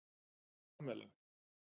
Pamela